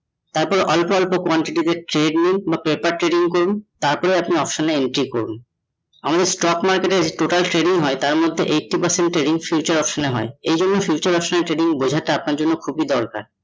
এখন অল্প অল্প quantity তে trading বা paper trading করুন তারপর আপনি option এ entry করুন। আমি stock market এ total trading হয় তার মধ্যে eighty percent trading future option এ হয়। এ জন্যে future trading option বোঝাটা আপনার জন্য খুবই দরকার ।